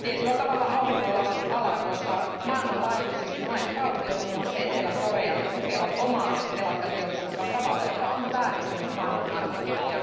tietyllä tavalla auringonlaskun ala, koska maailmanlaajuisesti monet valtiot, muun muassa Etelä Korea, tukevat omaa telakkateollisuuttaan tavalla, joka on vääristänyt maailmanmarkkinoita.